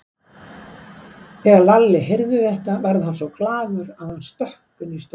Þegar Lalli heyrði þetta varð hann svo glaður að hann stökk inn í stofuna.